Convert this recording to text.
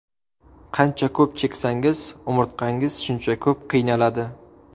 Qancha ko‘p cheksangiz umurtqangiz shuncha ko‘p qiynaladi.